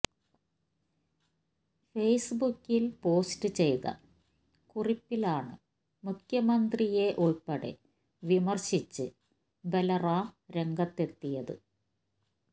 ഫേസ്ബുക്കിൽ പോസ്റ്റ് ചെയ്ത കുറിപ്പിലാണ് മുഖ്യമന്ത്രിയെ ഉൾപ്പെടെ വിമർശിച്ച് ബൽറാം രംഗത്തെത്തിയത്